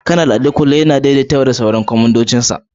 Kanar Adekunle yana daidaita dabaru tare da sauran kwamandojinsa